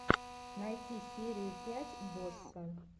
найти серию пять босса